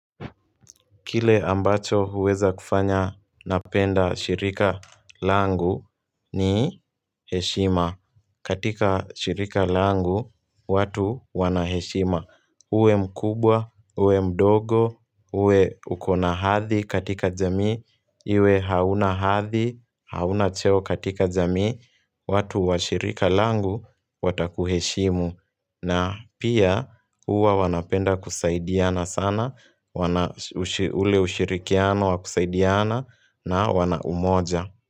Kile ambacho huweza kufanya napenda shirika langu ni heshima. Katika shirika langu, watu wana heshima. Uwe mkubwa, uwe mdogo, uwe ukona hadhi katika jamii, iwe hauna hadhi, hauna cheo katika jamii, watu wa shirika langu, watakuheshimu. Na pia huwa wanapenda kusaidiana sana, ule ushirikiano wa kusaidiana na wana umoja.